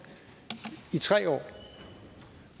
i tre år